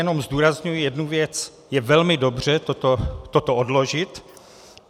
Jenom zdůrazňuji jednu věc - je velmi dobře toto odložit.